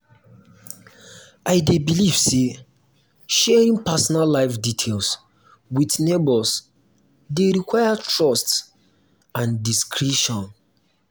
i dey believe say sharing personal life details with neighbors dey require trust and discretion.